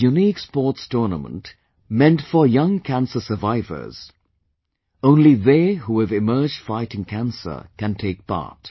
It is a unique sports tournament meant for young cancer survivors; only they who have emerged fighting cancer, can take part